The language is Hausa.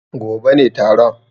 Gobe ne taron.